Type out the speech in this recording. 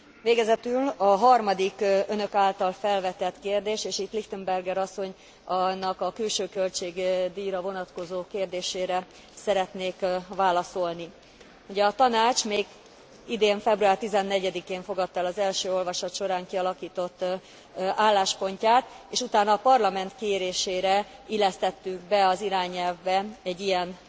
Végezetül a harmadik Önök által felvetett kérdés, és itt Lichtenberger asszonynak a külső költségdíjra vonatkozó kérdésére szeretnék válaszolni. Ugye a Tanács még idén február 14 én fogadta el az első olvasat során kialakított álláspontját, és utána a Parlament kérésére illesztettünk be az irányelvbe egy ilyen